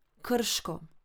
Krško.